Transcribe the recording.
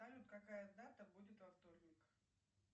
салют какая дата будет во вторник